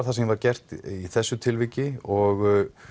það sem var gert í þessu tilviki og